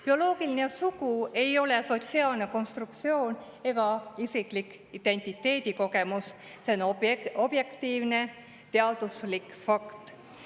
Bioloogiline sugu ei ole sotsiaalne konstruktsioon ega isiklik identiteedikogemus, see on objektiivne teaduslik fakt.